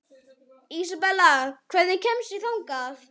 Ísabella, hvernig kemst ég þangað?